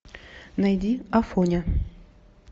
найди афоня